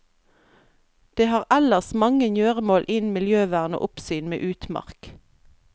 Det har ellers mange gjøremål innen miljøvern og oppsyn med utmark.